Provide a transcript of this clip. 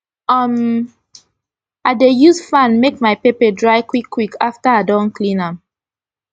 um i dey use fan make my pepper dry quick quick afta i don clean am